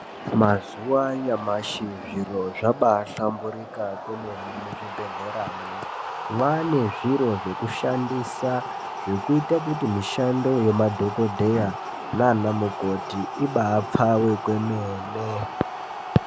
Mazuva anyamashi zviro zvabaahlamburuka kwemene muzvibhedhleramwo. Mwaane zviro zvekushandisa, zvekuita kuti mishando yemadhogodheya nanamukoti ibaapfawe kwemene.